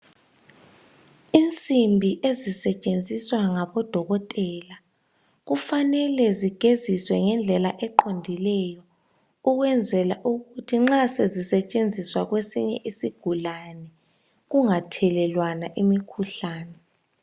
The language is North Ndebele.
Insimbi ezisetshenziswa ngabodokotela kufanele zigeziswe ngendlela eqondileyo ukwenzela ukuthi nxa sezisetshenziswa kwesinye isigulane, kungathelelwana imikhuhlane.